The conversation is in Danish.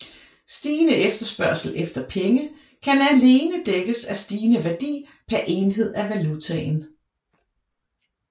Stigende efterspørgsel efter penge kan alene dækkes af stigende værdi per enhed af valutaen